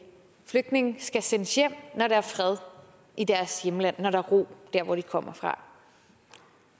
flygtninge skal sendes hjem når der er fred i deres hjemland når der er ro dér hvor de kommer fra